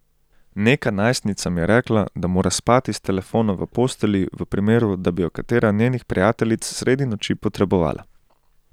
Neka najstnica mi je rekla, da mora spati s telefonom v postelji, v primeru da bi jo katera njenih prijateljic sredi noči potrebovala.